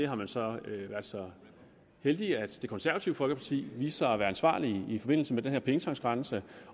har man så været så heldige at det konservative folkeparti viste sig at være ansvarligt i forbindelse med den her pengetanksgrænse